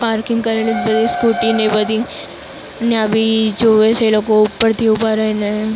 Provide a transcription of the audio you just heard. parking કરેલું બે scooty ને બધી નવી જોવે છે લોકો ઉપરથી ઉભા રહીને--